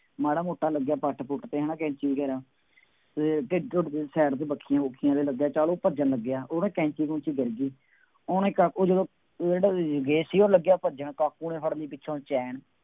ਮਾੜਾ ਮੋਟਾ ਲੱਗਿਆਂ ਪੱਟ ਪੁੱਟ ਤੇ ਹੈ ਨਾ, ਕੈਂਚੀ ਕੇਰਾਂ, ਅਤੇ ਢਿੱਡ ਢੁੱਡ ਚ side ਤੇ ਬੱਖੀਆਂ ਬੁੱਖੀਆਂ ਦੇ ਲੱਗਿਆ, ਜਦ ਉਹ ਭੱਜਣ ਲੱਗਿਆ, ਉਹ ਨਾ ਕੈਂਚੀ ਉੱਥੇ ਗਿਰ ਗਈ। ਉਹਨੇ ਕਾਕੂ ਜਦੋਂ ਜਿਹੜਾ ਰਾਜੇਸ਼ ਸੀਗਾ ਉਹ ਲੱਗਿਆ ਭੱਜਣ, ਕਾਕੂ ਨੇ ਫੜ੍ਹ ਲਈ ਪਿੱਛੋ ਚੈਨ